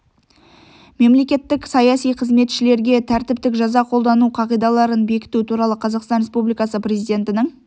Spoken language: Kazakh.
мемлекеттік саяси қызметшілерге тәртіптік жаза қолдану қағидаларын бекіту туралы қазақстан республикасы президентінің